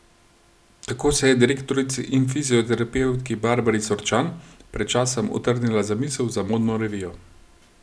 Tako se je direktorici in fizioterapevtki Barbari Sorčan pred časom utrnila zamisel za modno revijo.